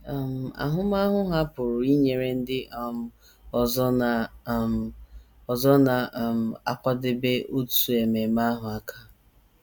um Ahụmahụ ha pụrụ inyere ndị um ọzọ na um ọzọ na um - akwadebe otu ememe ahụ aka.